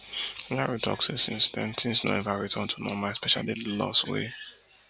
yaro tok say since den tins no eva return to normal especially di loss wey